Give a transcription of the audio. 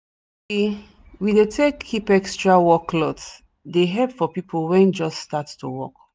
we we tak dey keep extra work cloth dey help for people wen just start to work